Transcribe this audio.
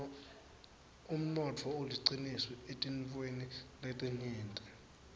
umnotfo ulisito etintfweni letinyenti